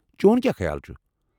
چون کیٛاہ خیال چھٗ؟